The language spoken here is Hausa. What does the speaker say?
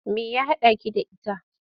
Me ya haɗaki da ita?